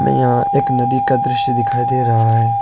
यहां एक नदी का दृश्य दिखाई दे रहा है।